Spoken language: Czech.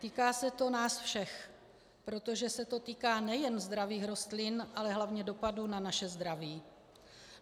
Týká se to nás všech, protože se to týká nejen zdravých rostlin, ale hlavně dopadů na naše zdraví.